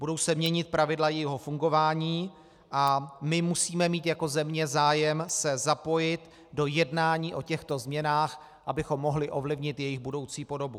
Budou se měnit pravidla jejího fungování a my musíme mít jako země zájem se zapojit do jednání o těchto změnách, abychom mohli ovlivnit jejich budoucí podobu.